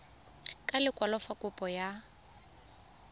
ka lekwalo fa kopo ya